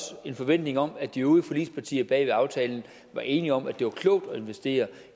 en forventning om at de øvrige forligspartier bag aftalen var enige om altså at det var klogt at investere